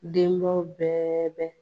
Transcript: Denbaw bɛɛ bɛ